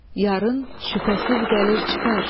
yarın şübhəsiz gəlir çıxar.